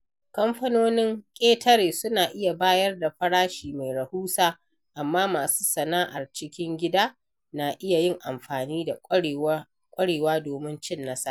Kamfanonin ƙetare suna iya bayar da farashi mai rahusa, amma masu sana’ar cikin gida na iya yin amfani da ƙwarewa domin cin nasara.